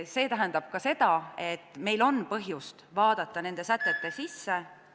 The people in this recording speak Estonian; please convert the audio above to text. See tähendab ka seda, et meil on põhjust vaadata nende sätete sisse ...